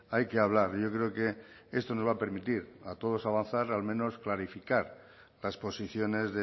hay que hablar yo creo que esto nos va a permitir a todos avanzar al menos unificar las posiciones